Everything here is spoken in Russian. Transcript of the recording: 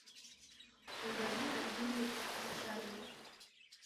галина юрьевна нечаева